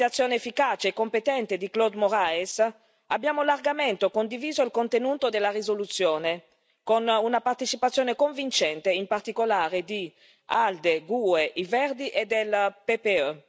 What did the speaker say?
Grazie alla mediazione efficace e competente di Claude Moraes abbiamo largamente condiviso il contenuto della risoluzione, con una partecipazione convincente, in particolare, dei gruppi ALDE, GUE, Verts ALE e PPE.